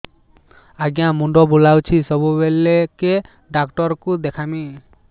ଆଜ୍ଞା ମୁଣ୍ଡ ବୁଲାଉଛି ସବୁବେଳେ କେ ଡାକ୍ତର କୁ ଦେଖାମି